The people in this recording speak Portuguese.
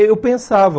Eu pensava.